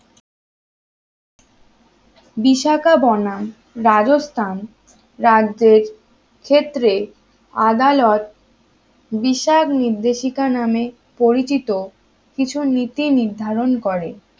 বিশাখা বনাম রাজস্থান রাজ্যের ক্ষেত্রে আদালত বিশাল নির্দেশিকা নামে পরিচিত কিছু নীতি নির্ধারণ করে